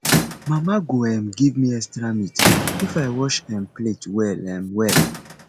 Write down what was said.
mama go um give me extra meat if i wash um plate well um well